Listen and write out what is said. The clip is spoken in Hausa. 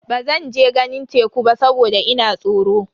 Bazan je ganin teku ba saboda ina tsoro.